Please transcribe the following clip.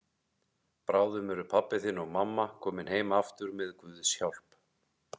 Bráðum eru pabbi þinn og mamma komin heim aftur með Guðs hjálp.